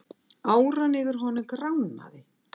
Áran yfir honum gránaði.